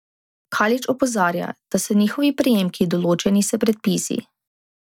Kalič opozarja, da so njihovi prejemki določeni s predpisi.